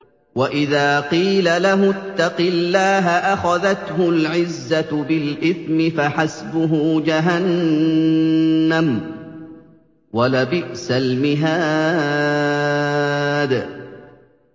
وَإِذَا قِيلَ لَهُ اتَّقِ اللَّهَ أَخَذَتْهُ الْعِزَّةُ بِالْإِثْمِ ۚ فَحَسْبُهُ جَهَنَّمُ ۚ وَلَبِئْسَ الْمِهَادُ